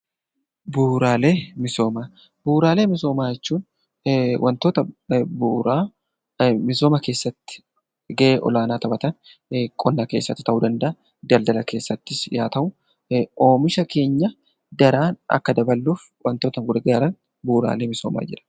Bu'uraalee misoomaa Bu'uraalee misoomaa jechuun wantoota bu'uura misooma keessatti gahee olaanaa taphatan, qonna keessatti ta'uu danda'aa, daldala keessattis haa ta'u oomisha keenya daran akka daballuf wantoota nu gargaaran 'Bu'uraalee misoomaa' jedhamu.